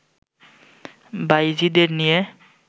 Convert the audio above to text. বাঈজীদের নিয়ে